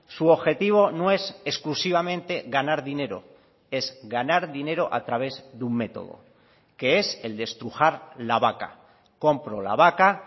su objetivo no es exclusivamente ganar dinero es ganar dinero a través de un método que es el de estrujar la vaca compro la vaca